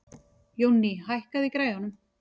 Jónný, hækkaðu í græjunum.